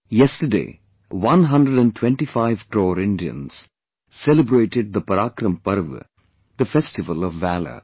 Yesterday, one hundred and twentyfive crore Indians celebrated the ParaakramParva, the festival of Valour